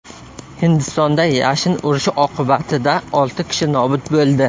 Hindistonda yashin urishi oqibatida olti kishi nobud bo‘ldi.